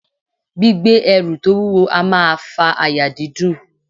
Gbígbé ẹrù to wuwo a maa fa àyà dídùn